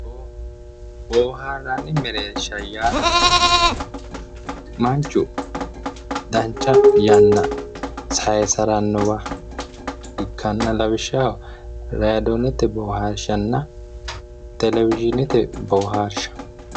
Boohaarranni mereersha yaa manchu dancha yanna saysirannowa ikkanna lawishshaho raadoonete boohaarshanna telezhinete boohaarsha